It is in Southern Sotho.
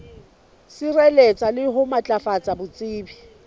sireletsa le ho matlafatsa botsebi